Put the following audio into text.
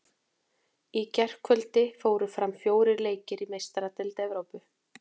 Í gærkvöldi fóru fram fjórir leikir í Meistaradeild Evrópu.